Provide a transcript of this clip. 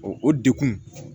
O dekun